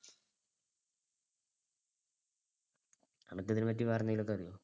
അനക്ക് ഇതിനെ പറ്റി വേറെന്തെങ്കിലു ഒക്കെ അറിയൊ?